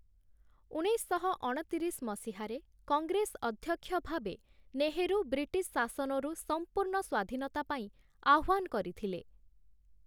ଉଣେଇଶଶହ ଅଣତିରିଶ ମସିହାରେ କଂଗ୍ରେସ ଅଧ୍ୟକ୍ଷ ଭାବେ ନେହେରୁ ବ୍ରିଟିଶ୍‌ ଶାସନରୁ ସମ୍ପୂର୍ଣ୍ଣ ସ୍ୱାଧୀନତା ପାଇଁ ଆହ୍ୱାନ କରିଥିଲେ ।